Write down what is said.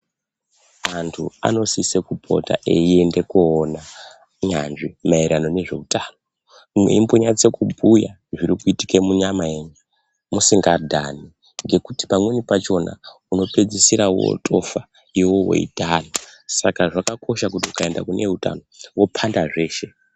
Antu anosise kupota eiende koona nyanzvi maererano ngezveutano mweimbonyatse kubhuya zvirikuitike munyama yenyu musingadhani ngekuti pamweni pachona unopedzeisire wotofa iwewe weidhana saka zvakakosha kuti uende kune eutano wopanda zveshe.